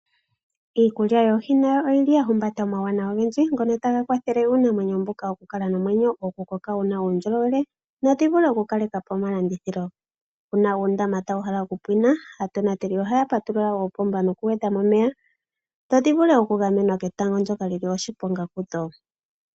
Iikulya yoohi nayo oyili ya humbata uuwanawa ogendji ngono taga kwathele iinamwenyo mboka oku kala nomwenyo okukokoka wuna uundjolowele nadhi vule okukaleka po omalandithilo. Uuna uundama tawu hala okupwinq aatonateli ohaa patulula ondama noku eta mo omeya dho dhi vule oku gamenwa ketango ndjoka lina oshiponga kudho.